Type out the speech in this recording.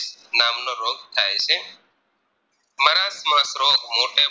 નામનો રોગ થાય છે Marakamarg રોગ મૉટે